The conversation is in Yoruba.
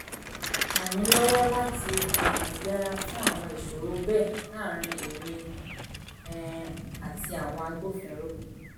ràn mí lọ́wọ́ láti um yẹra fún àwọn ìṣòro bẹ́ẹ̀ láàárín èmi um àti àwọn agbófinró